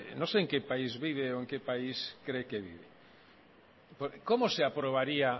no sé en que país vive o en que país cree que vive cómo se aprobaría